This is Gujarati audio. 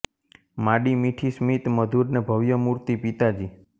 માડી મીઠી સ્મિત મધુર ને ભવ્ય મૂર્તી પિતાજી